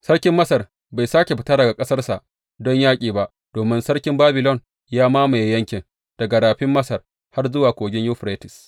Sarkin Masar bai sāke fita daga ƙasarsa don yaƙi ba domin sarkin Babilon ya mamaye yankin, daga Rafin Masar har zuwa Kogin Yuferites.